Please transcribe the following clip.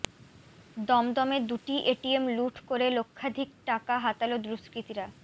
দমদমে দুটি এটিএম লুঠ করে লক্ষাধিক টাকা হাতাল দুষ্কৃতীরা